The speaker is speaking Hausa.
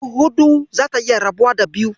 Dubu huɗu zata iya rabuwa da biyu.